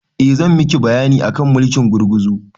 Eh zan miki bayani akan mulkin gurguzu